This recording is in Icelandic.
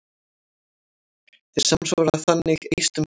Þeir samsvara þannig eistum karla.